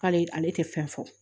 K'ale ale tɛ fɛn fɔ